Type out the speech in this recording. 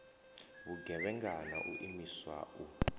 vhugevhenga na u imiswa u